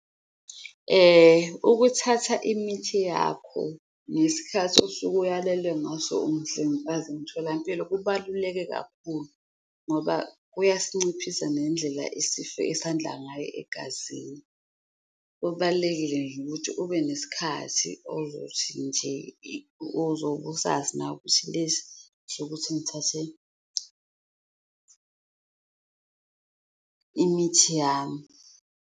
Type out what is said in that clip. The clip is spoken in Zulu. Ukuthatha imithi yakho ngesikhathi osuke uyalelwe ngaso umhlengikazi emtholampilo kubaluleke kakhulu, ngoba kuyasinciphisa nendlela esifo esandla ngayo egazini. Kubalulekile nje ukuthi ube nesikhathi ozothi nje ozobe usazi nawe ukuthi lesi esokuthi ngithathe imithi yami.